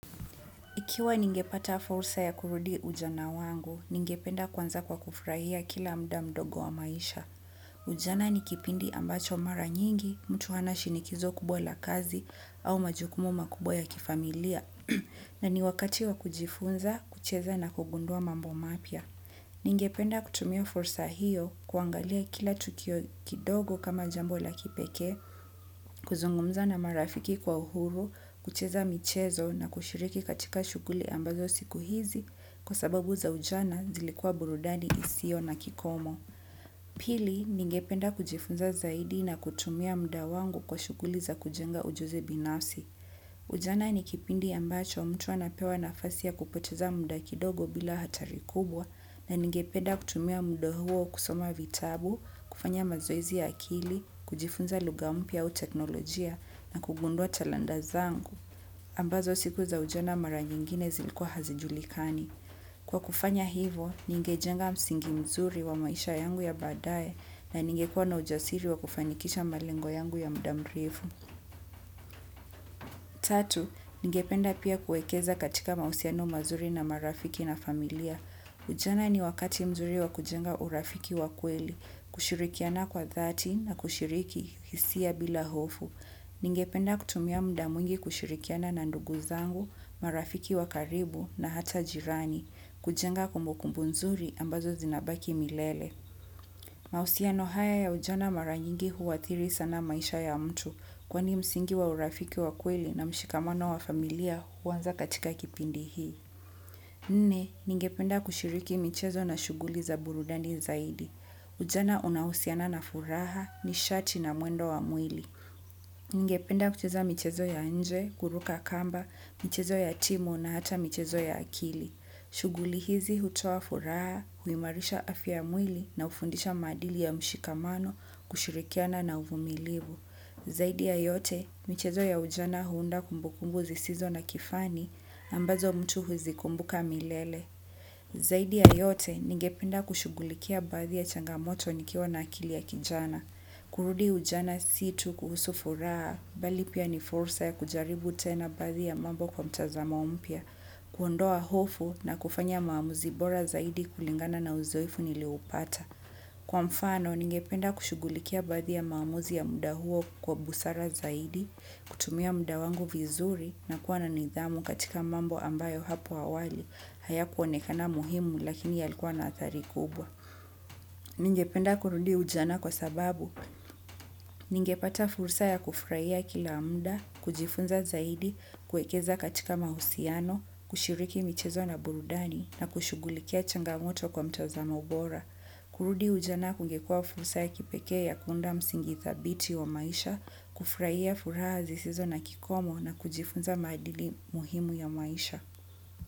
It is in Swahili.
Ikiwa ningepata fursa ya kurudi ujana wangu, ningependa kwanza kwa kufurahia kila mda mdogo wa maisha. Ujana ni kipindi ambacho mara nyingi, mtu hana shinikizo kubwa la kazi au majukumu makubwa ya kifamilia. Na ni wakati wa kujifunza, kucheza na kugundua mambo mapya. Ningependa kutumia fursa hiyo kuangalia kila tukio kidogo kama jambo la kipekee, kuzungumza na marafiki kwa uhuru, kucheza michezo na kushiriki katika shuguli ambazo siku hizi kwa sababu za ujana zilikuwa burudani isio na kikomo. Pili, ningependa kujifunza zaidi na kutumia mda wangu kwa shuguli za kujenga ujuzi binafsi. Ujana ni kipindi ambacho mtu anapewa nafasi ya kupoteza mda kidogo bila hatari kubwa na ningependa kutumia mda huo kusoma vitabu, kufanya mazoezi ya akili kujifunza luga mpya au teknolojia na kugundua talanda zangu. Ambazo siku za ujana mara nyingine zilikuwa hazijulikani. Kwa kufanya hivo, ningejenga msingi mzuri wa maisha yangu ya baadae na ningekuwa na ujasiri wa kufanikisha malengo yangu ya mda mrefu. Tatu, ningependa pia kuekeza katika mausiano mazuri na marafiki na familia. Ujana ni wakati mzuri wa kujenga urafiki wa kweli, kushirikiana kwa dhati na kushiriki hisia bila hofu. Ningependa kutumia mda mwingi kushirikiana na ndugu zangu, marafiki wa karibu na hata jirani, kujenga kumbukumbu nzuri ambazo zinabaki milele. Mausiano haya ya ujana maranyingi huwathiri sana maisha ya mtu kwani msingi wa urafiki wa kweli na mshikamano wa familia huanza katika kipindi hii. Nne, ninge penda kushiriki michezo na shuguli za burudani zaidi. Ujana unahusiana na furaha ni shati na muendo wa mwili. Ningependa kucheza michezo ya nje, kuruka kamba, mchezo ya timu na hata mchezo ya akili. Shuguli hizi hutoa furaha, huimarisha afya yamwili na hufundisha maadili ya mshikamano kushirikiana na uvumilivu. Zaidi ya yote, michezo ya ujana huunda kumbukumbu zisizo na kifani ambazo mtu huzikumbuka milele. Zaidi ya yote, ningependa kushugulikia baadhii ya changamoto nikiwa na akili ya kijana kurudi ujana si tu kuhusu furaha bali pia ni fursa ya kujaribu tena baadhi ya mambo kwa mtazamo mpya kuondoa hofu na kufanya maamuzi bora zaidi kulingana na uzoefu nilioupata. Kwa mfano, ningependa kushugulikia baadhi ya maamuzi ya muda huo kwa busara zaidi, kutumia muda wangu vizuri na kuwa na nidhamu katika mambo ambayo hapo awali, haya kuonekana muhimu lakini yalikua na athari kubwa. Ningependa kurudi ujana kwa sababu. Ningepata fursa ya kufuraia kila muda kujifunza zaidi kuekeza katika mausiano kushiriki michezo na burudani na kushugulikia changamoto kwa mtazamo bora. Kurudi ujana kungekua fursa ya kipekee ya kunda msingithabiti wa maisha, kufraia fura zisizo na kikomo na kujifunza maadili muhimu ya maisha.